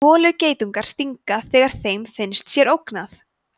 holugeitungar stinga þegar þeim finnst sér ógnað